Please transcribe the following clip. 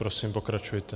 Prosím, pokračujte.